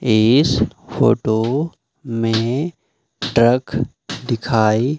इस फोटो में ट्रक दिखाई--